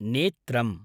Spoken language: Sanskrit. नेत्रम्